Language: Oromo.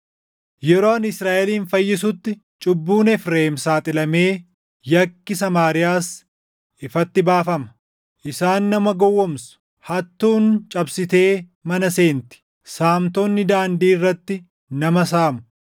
yeroo ani Israaʼelin fayyisutti cubbuun Efreem saaxilamee yakki Samaariyaas ifatti baafama. Isaan nama gowwoomsu; hattuun cabsitee mana seenti; saamtonni daandii irratti nama saamu;